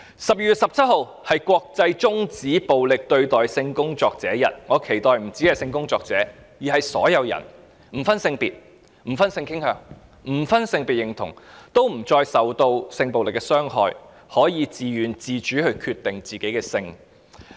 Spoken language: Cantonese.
12月17日是國際終止暴力對待性工作者日，我期待不只是性工作者，而是所有人，不分性別、性傾向、性別認同，均不再受到性暴力的傷害，能夠自願和自主地決定自己的性。